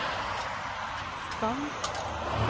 skann